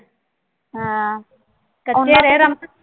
ਹਾਂ ਕੱਚੇ ਰਹੇ